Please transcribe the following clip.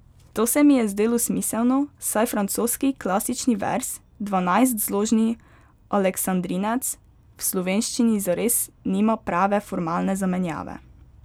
To se mi je zdelo smiselno, saj francoski klasični verz, dvanajstzložni aleksandrinec, v slovenščini zares nima prave formalne zamenjave.